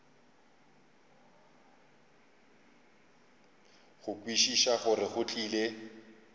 go kwešiša gore go tlile